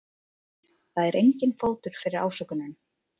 Það er enginn fótur fyrir ásökununum